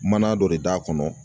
Mana dɔ de d'a kɔnɔ